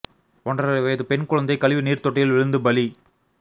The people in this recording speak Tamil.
ஒன்றரை வயது பெண் குழந்தை கழிவு நீர் தொட்டியில் விழுந்து பலி